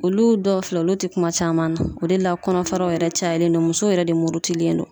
Olu dɔw filɛ, olu te kuma caman na. O de la kɔnɔfaraw yɛrɛ cayalen don ,musow yɛrɛ de murutilen don.